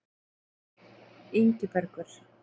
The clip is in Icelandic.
Ingibergur